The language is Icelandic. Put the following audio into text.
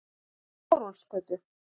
Þórólfsgötu